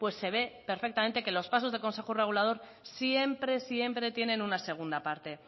pues se ve perfectamente que los pasos del consejo regulador siempre siempre tienen una segunda parte